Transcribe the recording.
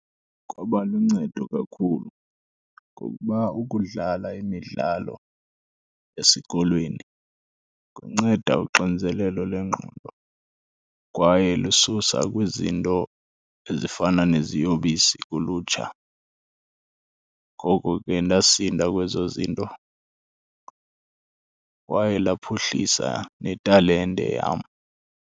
Kwaba luncedo kakhulu, ngokuba ukudlala imidlalo esikolweni kunceda uxinzelelo lengqondo kwaye lususa kwizinto ezifana neziyobisi kulutsha. Ngoko ke ndasinda kwezo zinto kwaye laphuhlisa netalente yam.